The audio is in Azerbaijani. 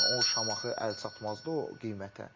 məsəl üçün, o Şamaxı əlçatmazdı o qiymətə.